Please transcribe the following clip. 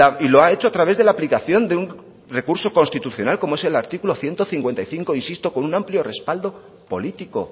y lo ha hecho a través de la aplicación de un recurso constitucional como es el artículo ciento cincuenta y cinco insisto con un amplio respaldo político